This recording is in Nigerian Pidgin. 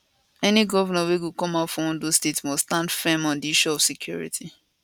any govnor wey go come out for ondo state must stand firm on di issue of security